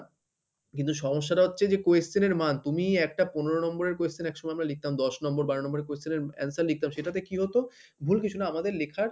কিন্তু সমস্যাটা হচ্ছে যে question এর মান তুমি একটা পনেরো number এর question একসময় আমরা লিখতাম দশ number, বারো number এর question এর answer লিখতাম সেটাতে কি হতো? ভুল কিছু না আমাদের লেখার